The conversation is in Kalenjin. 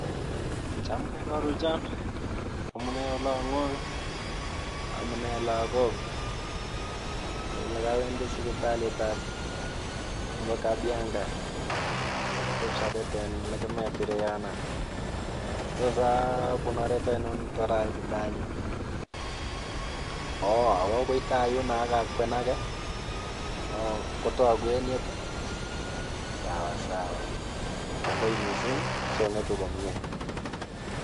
Chamke koruchon, amune olong'wong, amune lakok, lekowendi sipitalitab nebo Kabianga koteb siobet elekemet ireyono, tos abun oret ainon tor aitite anyun, oo owo akoi taayuno akakwenake, oo kotoku en yet i, sawasawa kongoi mising song'etu komnye.